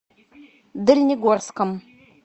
дальнегорском